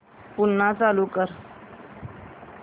पुन्हा चालू कर